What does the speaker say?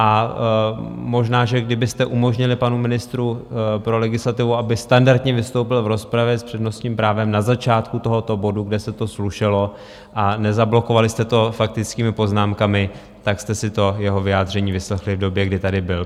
A možná, že kdybyste umožnili panu ministru pro legislativu, aby standardně vystoupil v rozpravě s přednostním právem na začátku tohoto bodu, kde se to slušelo, a nezablokovali jste to faktickými poznámkami, tak jste si to jeho vyjádření vyslechli v době, kdy tady byl.